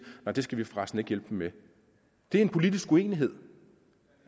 nej det skal vi for resten ikke hjælpe dem med det er en politisk uenighed